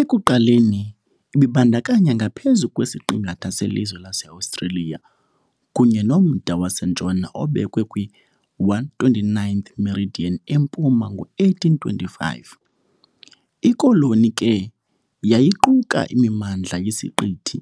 Ekuqaleni ibibandakanya ngaphezulu kwesiqingatha selizwe laseOstreliya kunye nomda wasentshona obekwe kwi -129th meridian empuma ngo-1825. Ikoloni ke yayiquka imimandla yesiqithi